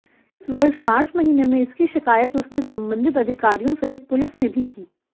इस वर्ष मार्च महीने में इसकी शिकायत उसने संबंधित अधिकारियों सहित पुलिस में भी की